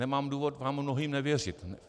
Nemám důvod vám mnohým nevěřit.